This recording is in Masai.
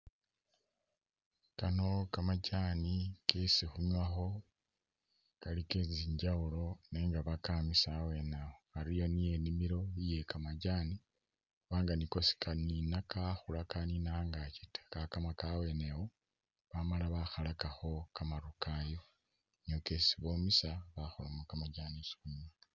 Kano kamajaani kesi khunywakho kali ke tsi njawulo nenga bakamisa awene awo ari awo niyo inimilo iye kamajaani khubanga niko sikanina kakhula kanina angakyi ta kakamaka a wene iwo bamala bakhalakakho kamaru kayo niyo kesi bomesa bakholamo kamajaani kesi khunywa.